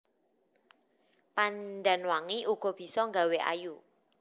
Pandan wangi uga bisa nggawé ayu